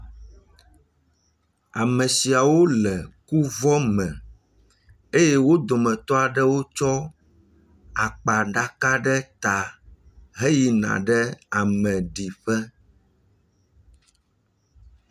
ame siawo le kuvɔ me eye wó dometɔ aɖewo tsɔ akpa ɖaka ɖe ta he yina ɖe ame ɖiƒe